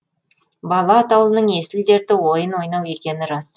бала атаулының есіл дерті ойын ойнау екені рас